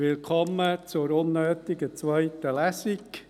Willkommen zur unnötigen zweiten Lesung.